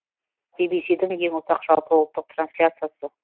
би би си дің ең ұзақ жалпы ұлттық трансляциясы